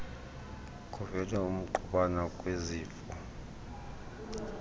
kuvele ukungqubana kwezimvo